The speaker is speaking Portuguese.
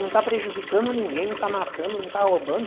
Não está prejudicando ninguém, não está matando, não está roubando.